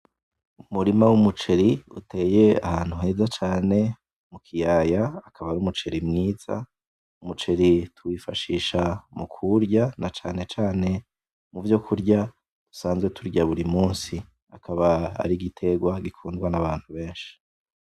umurima w' umuceri uteye ahantu heza cane mukiyaya akaba ari umuceri mwiza, umuceri tuwifashisha mukuwurya cane cane muvyokurya dusanzwe turya buri munsi aka ari igiterwa gikundwa n' abantu benshi.